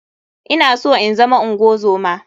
I na so inzama ungozoma.